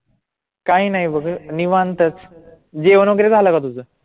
काही नाही बघ निवांत जेवण वगैरे झालं का तुझं?